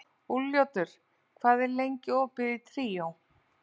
Úlfljótur, hvað er lengi opið í Tríó?